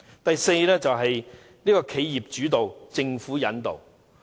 第四方面，由企業主導、政府引導。